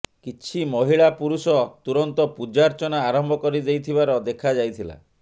କିଛି ମହିଳା ପୁରୁଷ ତୁରନ୍ତ ପୂଜାର୍ଚ୍ଚନା ଆରମ୍ଭ କରି ଦେଇଥିବାର ଦେଖାଯାଇଥିଲା